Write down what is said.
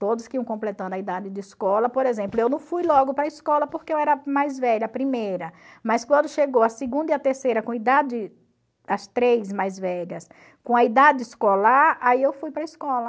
Todos que iam completando a idade de escola, por exemplo, eu não fui logo para a escola porque eu era mais velha, a primeira, mas quando chegou a segunda e a terceira com idade, as três mais velhas, com a idade escolar, aí eu fui para a escola.